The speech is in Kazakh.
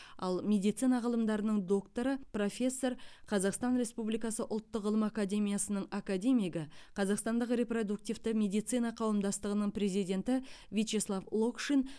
ал медицина ғылымдарының докторы профессор қазақстан республикасы ұлттық ғылым академиясының академигі қазақстандық репродуктивті медицина қауымдастығының президенті вячеслав локшин